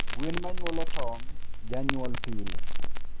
Gwen manyuolo tong, janyuol pile